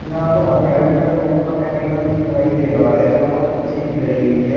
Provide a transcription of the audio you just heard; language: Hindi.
यहां पर हमें अल्ट्राटेक का केमिकल दिखाई दे रहा है जहां पर कुर्सी भी धरी हुई है।